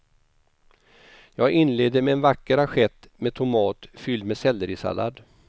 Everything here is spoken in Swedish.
Jag inleder med en vacker assiett med tomat fylld med sellerisallad.